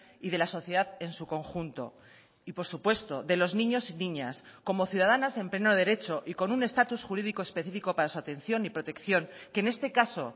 y de la sociedad en su conjunto y por supuesto de los niños y niñas como ciudadanas en pleno derecho y con un estatus jurídico específico para su atención y protección que en este caso